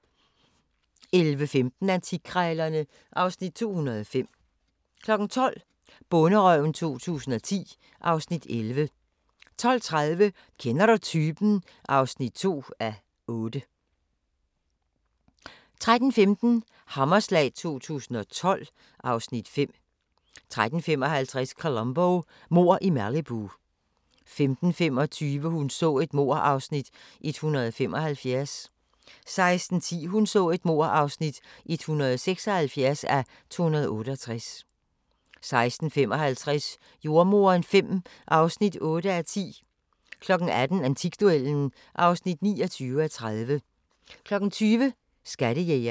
11:15: Antikkrejlerne (Afs. 205) 12:00: Bonderøven 2010 (Afs. 11) 12:30: Kender du typen? (5:8) 13:15: Hammerslag 2012 (Afs. 5) 13:55: Columbo: Mord i Malibu 15:25: Hun så et mord (175:268) 16:10: Hun så et mord (176:268) 16:55: Jordemoderen V (8:10) 18:00: Antikduellen (29:30) 20:00: Skattejægerne